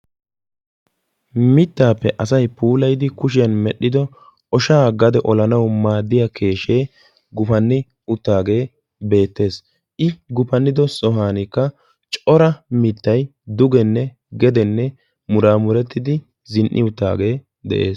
mittaappe asay puulayidi meil"ido ooshshaa gade ollanawu maadiyaa keeshshee gufanni uttaagee beettees. i gufannidosaankka cora miittay dugenne gede muraamurettidi zin"i uttagee beettees.